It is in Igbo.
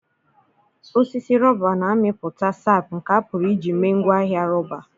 osisi rọba na-amịpụta sap nke a pụrụ iji mee ngwaahịa rọba.